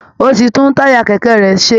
Ó ti tún táyà kẹ̀kẹ́ rẹ̀ ṣe